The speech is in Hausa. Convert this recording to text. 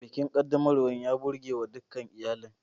Bikin ƙaddamarwa ya burgewa dukan iyalin.